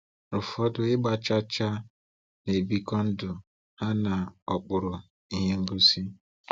Ụfọdụ ịgba chaa chaa na-ebikọ ndụ ha n’okpuru ìhè ngosi!